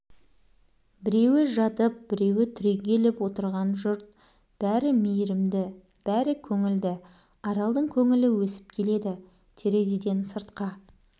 біреуі жатып біреуі түрегеліп отырған жұрт бәрі мейірімді бәрі көңілді аралдың көңілі өсіп келеді терезеден сыртқа